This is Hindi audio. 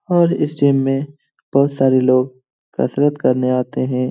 और इस जिम में हम बोहोत सारे लोग कसरत करने आते हैं।